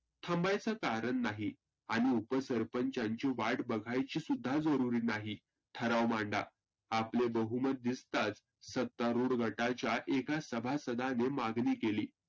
थांबायच कारण नाही. आणि उप सरपंचांची वाट बघायची सुद्धा जरुरी नाही. ठराव मांडा, आपले बहुमत दिसताच सत्तारुड गटाच्या एका सभासदाने मागनी केली.